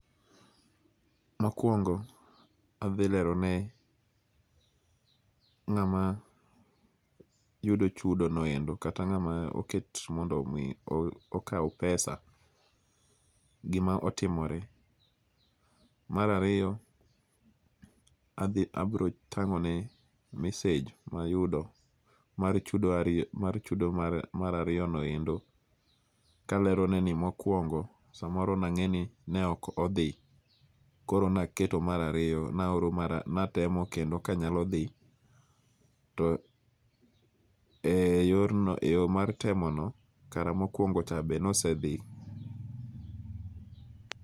Mokuongo' athi lerone nga'ma yudo chudono endo kata nga'ma oket mondo omi okaw pesa gima otomore. Marariyo athi abro tango'ne massage mayudo mar chudo ariyo mar chudo marariyonoendo kaleroneni mokuongo' samoro nange'ni ne ok othi koro naketo mara riyo natemo kendo kanyalo thi to e yorno e yo mar temono kara mokuongo'cha be nosethi.